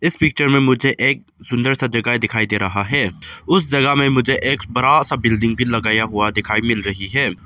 Picture में मुझे एक सुंदर सा जगह दिखाई दे रहा है। उस जगह में मुझे एक बड़ा सा बिल्डिंग की लगाया हुआ दिखाई मिल रही है।